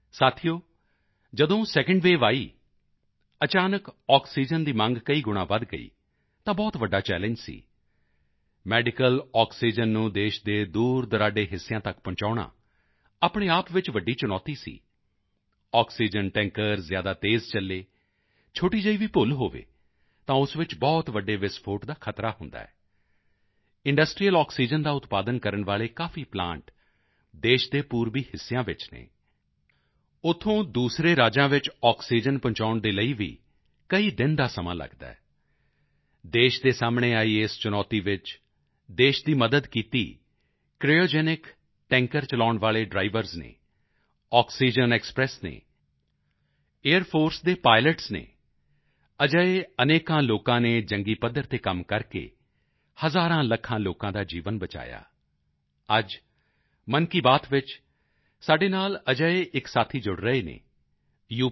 ਸਾਥੀਓ ਜਦੋਂ second wave ਆਈ ਅਚਾਨਕ ਆਕਸੀਜਨ ਦੀ ਮੰਗ ਕਈ ਗੁਣਾਂ ਵਧ ਗਈ ਤਾਂ ਬਹੁਤ ਵੱਡਾ ਚੱਲਣਗੇ ਸੀ ਮੈਡੀਕਲ ਆਕਸੀਜਨ ਨੂੰ ਦੇਸ਼ ਦੇ ਦੂਰਦੁਰਾਡੇ ਹਿੱਸਿਆਂ ਤੱਕ ਪਹੁੰਚਾਉਣਾ ਆਪਣੇ ਆਪ ਵਿੱਚ ਵੱਡੀ ਚੁਣੌਤੀ ਸੀ ਆਕਸੀਜਨ ਟੈਂਕਰ ਜ਼ਿਆਦਾ ਤੇਜ਼ ਚੱਲੇ ਛੋਟੀ ਜਿਹੀ ਵੀ ਭੁੱਲ ਹੋਵੇ ਤਾਂ ਉਸ ਵਿੱਚ ਬਹੁਤ ਵੱਡੇ ਵਿਸਫੋਟ ਦਾ ਖਤਰਾ ਹੁੰਦਾ ਹੈ ਇੰਡਸਟ੍ਰੀਅਲ ਆਕਸੀਜਨ ਦਾ ਉਤਪਾਦਨ ਕਰਨ ਵਾਲੇ ਕਾਫੀ ਪਲਾਂਟ ਦੇਸ਼ ਦੇ ਪੂਰਬੀ ਹਿੱਸਿਆਂ ਵਿੱਚ ਹਨ ਉੱਥੋਂ ਦੂਸਰੇ ਰਾਜਾਂ ਵਿੱਚ ਆਕਸੀਜਨ ਪਹੁੰਚਾਉਣ ਦੇ ਲਈ ਵੀ ਕਈ ਦਿਨ ਦਾ ਸਮਾਂ ਲੱਗਦਾ ਹੈ ਦੇਸ਼ ਦੇ ਸਾਹਮਣੇ ਆਈ ਇਸ ਚੁਣੌਤੀ ਵਿੱਚ ਦੇਸ਼ ਦੀ ਮਦਦ ਕੀਤੀ ਕ੍ਰਾਇਓਜੈਨਿਕ ਟੈਂਕਰ ਚਲਾਉਣ ਵਾਲੇ ਡ੍ਰਾਈਵਰਜ਼ ਨੇ ਆਕਸੀਜਨ ਐਕਸਪ੍ਰੈਸ ਨੇ ਏਆਈਆਰ ਫੋਰਸ ਦੇ ਪਾਈਲਟਸ ਨੇ ਅਜਿਹੇ ਅਨੇਕਾਂ ਲੋਕਾਂ ਨੇ ਜੰਗੀ ਪੱਧਰ ਤੇ ਕੰਮ ਕਰਕੇ ਹਜ਼ਾਰਾਂਲੱਖਾਂ ਲੋਕਾਂ ਦਾ ਜੀਵਨ ਬਚਾਇਆ ਅੱਜ ਮਨ ਕੀ ਬਾਤ ਵਿੱਚ ਸਾਡੇ ਨਾਲ ਅਜਿਹੇ ਇੱਕ ਸਾਥੀ ਜੁੜ ਰਹੇ ਹਨ ਯੂ